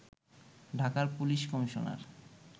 ঢাকার police commissioner